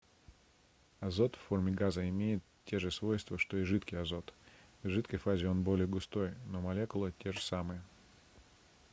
азот в форме газа имеет те же свойства что и жидкий азот в жидкой фазе он более густой но молекулы те же самые